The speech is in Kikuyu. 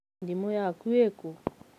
thimu yakũ ĩrĩ kũ?